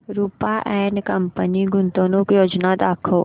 Rupa and company गुंतवणूक योजना दाखव